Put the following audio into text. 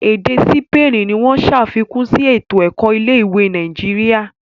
Èdè Sipeeni ní wón ṣàfikún sí eto-ẹkọ ilé-ìwé Nàìjíríà.